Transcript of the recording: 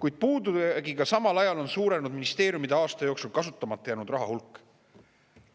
kuid puudujäägiga samal ajal on suurenenud ministeeriumide aasta jooksul kasutamata jäänud raha hulk.